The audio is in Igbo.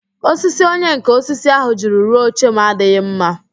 Osisi onyenká osisi ahu jiri rụọ oche m adịghị mma